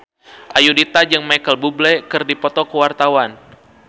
Ayudhita jeung Micheal Bubble keur dipoto ku wartawan